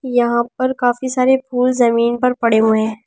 यहां पर काफी सारे फूल जमीन पर पड़े हुए हैं।